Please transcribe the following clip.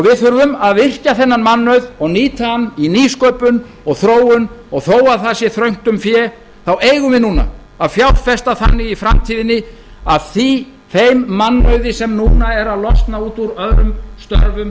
við þurfum að virkja þennan mannauð og nýta hann í nýsköpun og þróun og þó að það sé þröngt um fé eigum við núna að fjárfesta þannig í framtíðinni að þeim mannauði sem núna er að losna út úr öðrum störfum